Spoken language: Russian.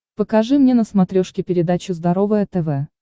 покажи мне на смотрешке передачу здоровое тв